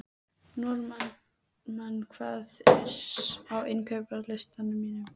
Normann, hvað er á innkaupalistanum mínum?